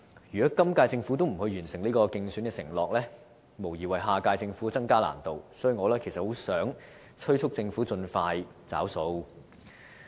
如果今屆政府未能完成這個競選承諾，無疑會為下屆政府增加難度，所以，我很希望催促政府盡快"找數"。